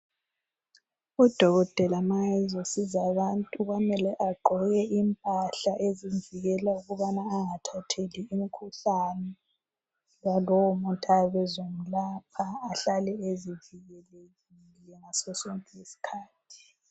Udokotela ma ezosiza abantu kwamele agqoke impahla ezimvikela ukubana anagathatheli umkhuhlane walowo muntu ayabe ezomlapha ahlale ezivikelekile ngaso sonke isikhathi.